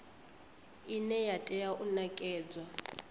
ine ya tea u nekedzwa